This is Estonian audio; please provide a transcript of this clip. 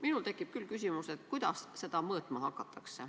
Minul tekib küll küsimus, kuidas seda mõõtma hakatakse.